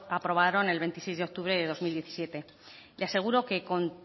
aprobaron el veintiséis de octubre de dos mil diecisiete le aseguro que con